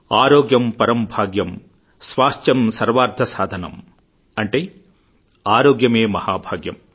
ఆరోగ్యం పరంభాగ్యం స్వాస్థ్యంసర్వార్థ సాధనం అంటే ఆరోగ్యమే మహాభాగ్యం